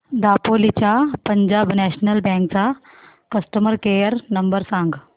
दापोली च्या Punjab national bank चा customer care number सांग